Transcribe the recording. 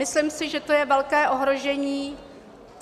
Myslím si, že to je velké ohrožení.